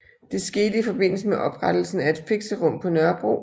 Det skete i forbindelse oprettelsen af et fikserum på Nørrebro